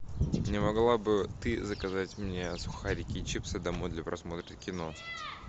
не могла бы ты заказать мне сухарики и чипсы домой для просмотра кино